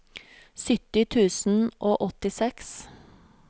sytti tusen og åttiseks